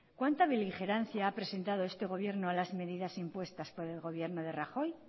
cuánta beligerancia ha presentado este gobierno a las medidas impuestas por el gobierno de rajoy